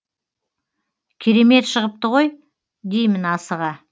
керемет шығыпты ғой деймін асыға